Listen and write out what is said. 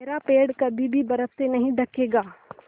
मेरा पेड़ कभी भी बर्फ़ से नहीं ढकेगा